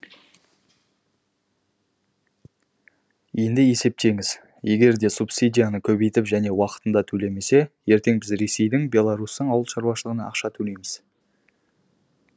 енді есептеңіз егерде субсидияны көбейтіп және уақытында төлемесе ертең біз ресейдің беларустың ауыл шаруашылығына ақша төлейміз